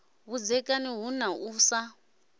vhudzekani hu na u sa